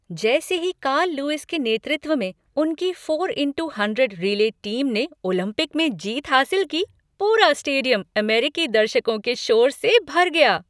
जैसे ही Carl Lewis के नेतृत्व में उनकी four into hundred relay team ने ओलंपिक में जीत हासिल की, पूरा स्टेडियम अमेरिकी दर्शकों के शोर से भर गया।